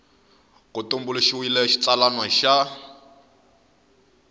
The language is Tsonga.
va ku tumbuluxiwile xitsalwana xa